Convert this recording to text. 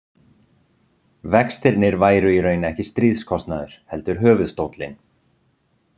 Vextirnir væru í raun ekki stríðskostnaður, heldur höfuðstóllinn.